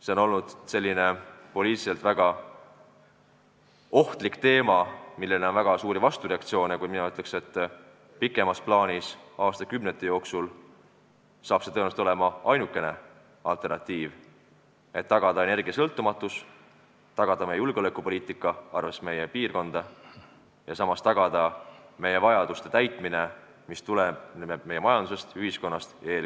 See on olnud poliitiliselt väga ohtlik teema, millele on olnud väga tugevaid vastureaktsioone, kuid mina ütlen, et pikemas plaanis, aastakümnete jooksul saab sellest tõenäoliselt ainuke alternatiiv, et tagada energiasõltumatus, tagada meie julgeolek, arvestades meie piirkonna eripära, ja samas tagada meie majanduse, ühiskonna ja eelkõige tööstuse vajaduste katmine.